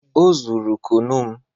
Ọ zụrụ kụnụ m